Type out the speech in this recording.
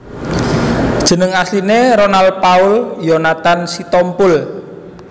Jeneng asline Ronal Paul Yonathan Sitompul